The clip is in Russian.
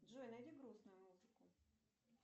джой найди грустную музыку